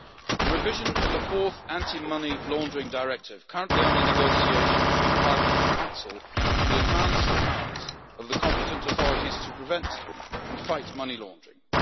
The revision of the Fourth Anti-Money Laundering Directive, currently under negotiation between Parliament and the Council, will enhance the powers of the competent authorities to prevent and fight money laundering.